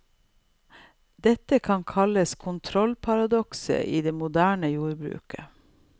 Dette kan kalles kontrollparadokset i det moderne jordbruket.